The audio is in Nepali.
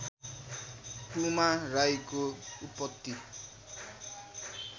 पुमा राईको उत्पत्ति